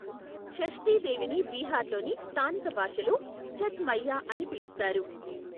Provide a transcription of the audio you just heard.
షష్ఠీ దేవిని బీహార్లోని స్థానిక భాషలో ఛత్ మైయ్యా అని పిలుస్తారు.